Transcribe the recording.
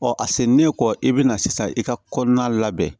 Ɔ a seginnen kɔ i bɛna sisan i ka kɔnɔna labɛn